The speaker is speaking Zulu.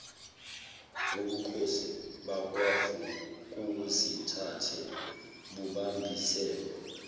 ubukhosi bakwavukuzithathe bubambisene